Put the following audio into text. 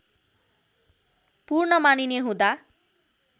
पूर्ण मानिने हुँदा